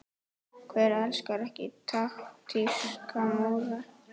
Hver elskar ekki taktíska Móra?